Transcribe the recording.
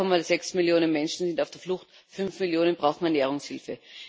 2,6 Millionen Menschen sind auf der Flucht, 5 Millionen brauchen Ernährungshilfe.